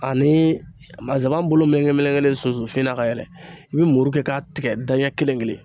Ani nsaban bolo meleke melekelen sunsunfin na ka yɛlɛ i bi muru kɛ k'a tigɛ da ɲɛ kelen kelen